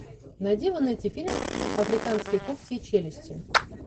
найди в инете фильм африканские когти и челюсти